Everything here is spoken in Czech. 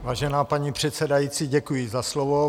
Vážená paní předsedající, děkuji za slovo.